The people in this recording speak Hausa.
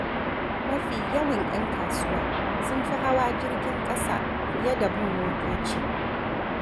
Mafi yawan 'yan kasuwa sun fi hawa jirgin ƙasa fiye da bin motoci.